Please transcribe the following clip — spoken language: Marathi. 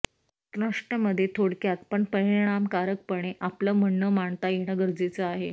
त्नष्ठ मध्ये थोडक्यात पण परिणामकारकपणे आपलं म्हणणं मांडता येणं गरजेचं आहे